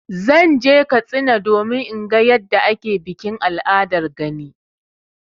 Zan je Katsina domin in ga yadda ake bikin al'adar gani.